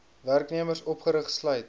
werknemers opgerig sluit